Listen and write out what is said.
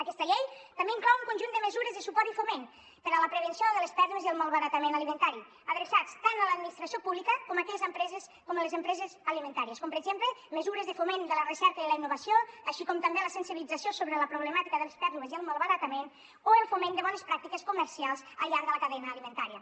aquesta llei també inclou un conjunt de mesures de suport i foment per a la prevenció de les pèrdues i el malbaratament alimentari adreçats tant a l’administració pública com a les empreses alimentàries com per exemple mesures de foment de la recerca i la innovació així com també la sensibilització sobre la problemàtica de les pèrdues i el malbaratament o el foment de bones pràctiques comercials al llarg de la cadena alimentària